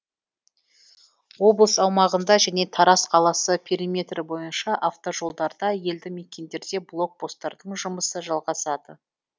облыс аумағында және тараз қаласы периметрі бойынша автожолдарда елді мекендерде блок посттардың жұмысы жалғасады